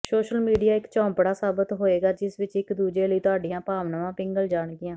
social media ਇਕ ਝੌਂਪੜਾ ਸਾਬਤ ਹੋਏਗਾ ਜਿਸ ਵਿਚ ਇਕ ਦੂਜੇ ਲਈ ਤੁਹਾਡੀਆਂ ਭਾਵਨਾਵਾਂ ਪਿਘਲ ਜਾਣਗੀਆਂ